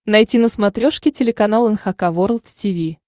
найти на смотрешке телеканал эн эйч кей волд ти ви